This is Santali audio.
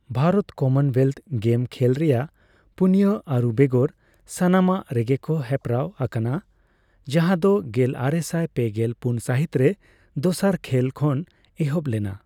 ᱵᱷᱟᱨᱚᱛ ᱠᱚᱢᱚᱱᱳᱭᱮᱞᱛᱷ ᱜᱮᱢ ᱠᱷᱮᱞ ᱨᱮᱭᱟᱜ ᱯᱩᱱᱭᱟᱹ ᱟᱹᱨᱩ ᱵᱮᱜᱚᱨ ᱥᱟᱱᱟᱢᱟᱜ ᱨᱮᱜᱮᱠᱚ ᱦᱮᱯᱨᱟᱣ ᱟᱠᱟᱱᱟ ᱡᱟᱦᱟᱸᱫᱚ ᱜᱮᱞᱟᱨᱮᱥᱟᱭ ᱯᱮᱜᱮᱞ ᱯᱩᱱ ᱥᱟᱹᱦᱤᱛ ᱨᱮ ᱫᱚᱥᱟᱨ ᱠᱷᱮᱞ ᱠᱷᱚᱱ ᱮᱦᱚᱵ ᱞᱮᱱᱟ ᱾